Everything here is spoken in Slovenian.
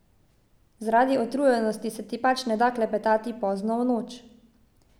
Zaradi utrujenosti se ti pač ne da klepetati pozno v noč.